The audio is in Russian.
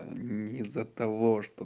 не из-за того что